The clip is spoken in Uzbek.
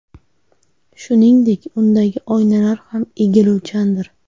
Shuningdek, undagi oynalar ham egiluvchandir.